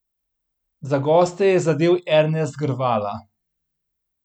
Za goste je zadel Ernest Grvala.